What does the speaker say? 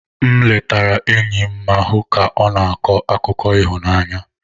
M letara enyi m ma hụ ka ọ na-akọ akụkọ ịhụnanya.